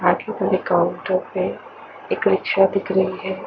Account एक rickshaw दिख रही है।